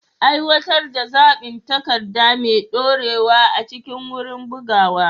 Aiwatar da zaɓin takarda mai ɗorewa a cikin wurin bugawa.